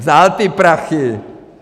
Vzal ty prachy.